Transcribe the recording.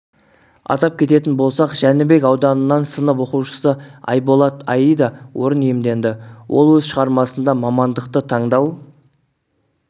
атап кететін болсақ жәнібек ауданынан сынып оқушысы айболат аида орын иемденді ол өз шығармасында мамандықты таңдау